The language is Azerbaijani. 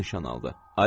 Onu da nişan aldı.